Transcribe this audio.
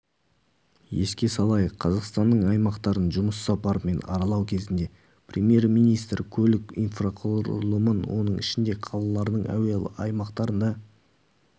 еске салайық қазақстанның аймақтарын жұмыс сапарымен аралау кезінде премьер-министрі көлік инфрақұрылымын оның ішінде қалалардың әуе айлақтарында